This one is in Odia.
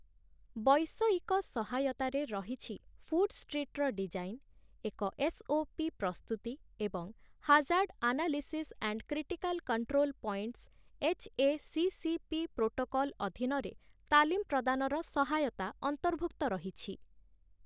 ବୈଷୟିକ ସହାୟତାରେ ରହିଛି ଫୁଡ୍ ଷ୍ଟ୍ରିଟ୍‌ର ଡିଜାଇନ୍, ଏକ ଏସ୍‌.ଓ.ପି. ପ୍ରସ୍ତୁତି ଏବଂ hazard analysis and critical control points H A C C P. Protocol ଅଧୀନରେ ତାଲିମ ପ୍ରଦାନର ସହାୟତା ଅନ୍ତର୍ଭୁକ୍ତ ରହିଛି ।